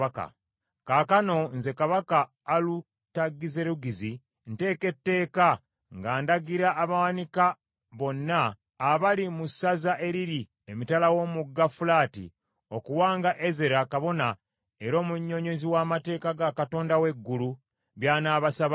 Kaakano, nze kabaka Alutagizerugizi nteeka etteeka nga ndagira abawanika bonna abali mu ssaza eriri emitala w’omugga Fulaati okuwanga Ezera kabona era omunnyonnyozi w’amateeka ga Katonda w’eggulu, by’anaabasabanga